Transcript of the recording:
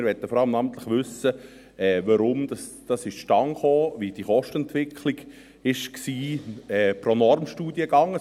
Wir wollen vor allem wissen, warum dies zustande kam und wie die Kostenentwicklung pro Normstudiengang war.